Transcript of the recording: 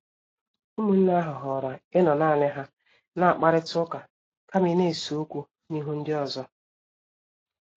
Ụmụnne ahụ họọrọ ịnọ naani ha na-akparita ụka kama ịna-ese okwu n'ihu ndi ọzọ.